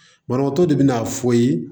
Banabaatɔ de bina fɔ ye